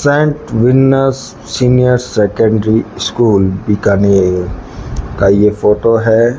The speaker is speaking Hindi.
Saint Venus senior secondary school Bikaner का ये फ़ोटो है।